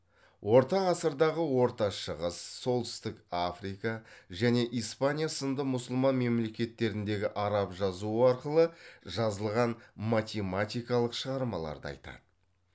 орта ғасырдағы орта шығыс солтүстік африка және испания сынды мұсылман мемлекеттеріндегі араб жазуы арқылы жазылған математикалық шығармаларды айтады